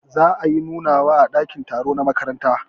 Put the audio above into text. Za ayi nunawa a dakin taro na makaranta.